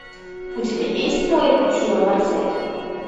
у тебя есть мой аттила марсель